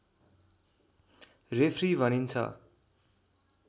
referee भनिन्छ